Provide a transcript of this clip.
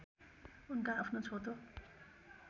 उनका आफ्नो छोटो